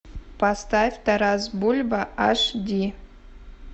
поставь тарас бульба аш ди